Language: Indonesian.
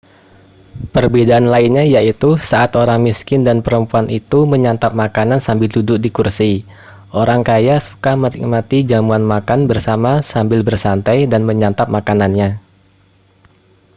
perbedaan lainnya yaitu saat orang miskin dan perempuan itu menyantap makanan sambil duduk di kursi orang kaya suka menikmati jamuan makan bersama sambil bersantai dan menyantap makanannya